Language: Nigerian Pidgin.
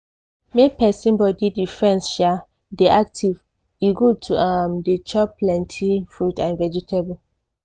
make persin body defense um dey active e good to um dey chop plenty fruit and vegetable.